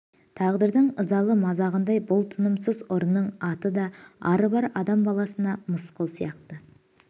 тағдырдың ызалы мазағындай бұл тынымсыз ұрының аты да ары бар адам баласына мысқыл сияқты